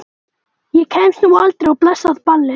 Ég komst nú aldrei á blessað ballið.